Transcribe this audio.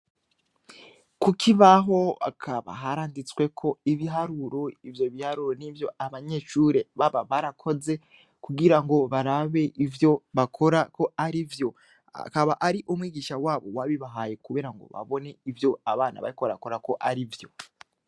Kuki baho akaba haranditsweko ibiharuro ivyo biharuro n'ivyo abanyecure baba barakoze kugira ngo barabe ivyo bakora ko ari vyo akaba ari umwigisha wabo wabi bahaye, kubera ngo babone ivyo abana baykorakora ko ari vyo.